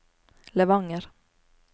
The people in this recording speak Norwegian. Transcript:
Levanger